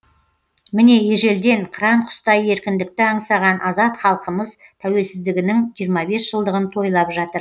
міне ежелден қыран құстай еркіндікті аңсаған азат халқымыз тәуелсіздігінің жиырма бес жылдығын тойлап жатыр